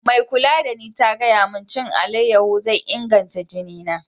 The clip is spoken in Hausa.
Mai kulla da ni ta gaya mun cewa n'ci alayeho zai inganta jini na.